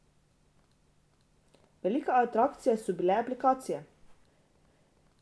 Velika atrakcija so bile aplikacije.